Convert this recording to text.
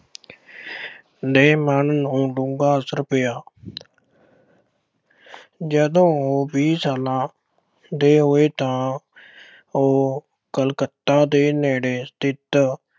ਨੇ ਮਨ ਨੂੰ ਡੂੰਘਾ ਅਸਰ ਪਾਇਆ। ਜਦੋਂ ਉਹ ਵੀਹ ਸਾਲਾਂ ਦੇ ਹੋਏ ਤਾਂ ਉਹ ਕਲਕੱਤਾ ਦੇ ਨੇੜੇ ਸਥਿਤ